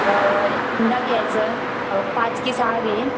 अंडा घ्यायचं, पाच की सहा घे